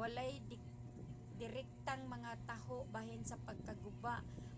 walay direktang mga taho bahin sa pagkaguba